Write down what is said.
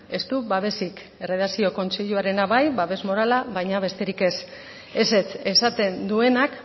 ez du babesik erredakzio kontseiluarena bai babes morala baina besterik ez ezetz esaten duenak